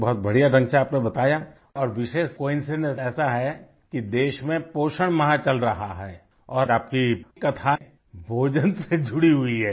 बहुत बढ़िया ढंग से आपने बताया और विशेष कोइंसिडेंस ऐसा है कि देश में पोषण माह चल रहा है और आप की कथा भोजन से जुड़ी हुई है